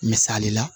Misali la